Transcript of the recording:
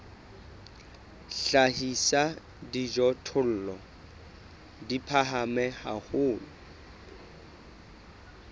hlahisa dijothollo di phahame haholo